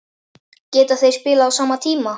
Geta þeir spilað á sama tíma?